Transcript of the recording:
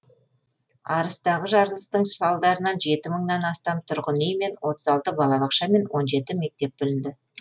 арыстағы жарылыстың салдарынан жеті мыңнан астам тұрғын үй мен отыз алты балабақша және он жеті мектеп бүлінді